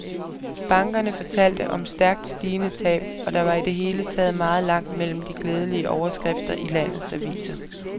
Bankerne fortalte om stærkt stigende tab, og der var i det hele taget meget langt mellem de glædelige overskrifter i landet aviser.